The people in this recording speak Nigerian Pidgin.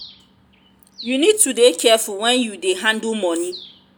you need to dey careful wen you dey handle money.